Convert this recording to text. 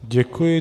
Děkuji.